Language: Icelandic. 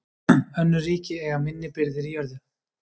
Önnur ríki eiga minni birgðir í jörðu.